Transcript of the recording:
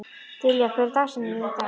Dilja, hver er dagsetningin í dag?